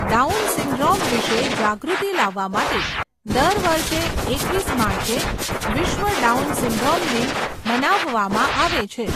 Down syndrome વિશે જાગૃતિ લાવવા માટે દર વર્ષે એકવીસ માર્ચે વિશ્વ ડાઉન સિન્ડ્રોમ દિન મનાવવામાં આવે છે.